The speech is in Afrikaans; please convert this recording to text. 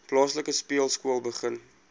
plaaslike speelskool begin